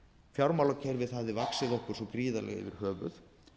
fjármálakerfið hafði vaxið okkur svo gríðarlega yfir höfuð